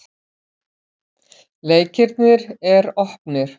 Leikirnir er opnir.